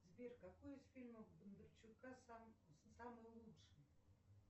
сбер какой из фильмов бондарчука самый лучший